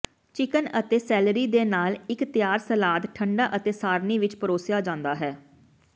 chicken ਅਤੇ celery ਦੇ ਨਾਲ ਇੱਕ ਤਿਆਰ ਸਲਾਦ ਠੰਢਾ ਅਤੇ ਸਾਰਣੀ ਵਿੱਚ ਪਰੋਸਿਆ ਜਾਂਦਾ ਹੈ